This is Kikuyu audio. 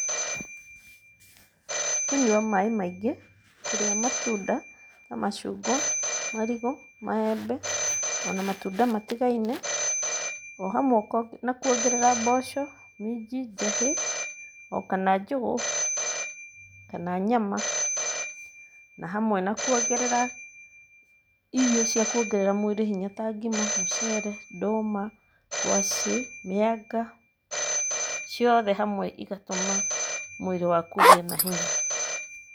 Nĩ kũnyua maaĩ maingĩ, kũrĩa matunda na macungwa, marigũ, maembe o na matunda matigaine, o hamwe na kuongerera mboco, minji, njahĩ o kana njũgũ, kana nyama, na hamwe na kuongerera irio cia kuongerera mwĩrĩ hinya ta ngima, mũceere, ndũma, ngwacĩ, mĩanga, ciothe hamwe igatũma mwĩrĩ waku ũgĩe na hinya.